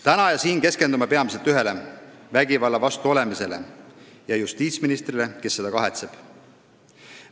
Täna ja siin keskendume peamiselt ühele: vägivalla vastu olemisele ja justiitsministrile, kes seda kahetseb.